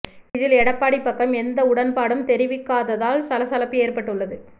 இதில் எடப்பாடி பக்கம் எந்த உடன்பாடும் தெரிவிக்காததால் சலசலப்பு ஏற்பட்டு உள்ளது